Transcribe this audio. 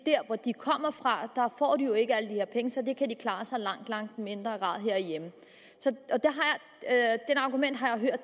der hvor de kommer fra får de jo ikke alle de her penge så de kan klare sig for langt langt mindre herhjemme det argument har jeg